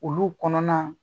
Olu kɔnɔna